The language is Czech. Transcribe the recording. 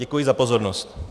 Děkuji za pozornost.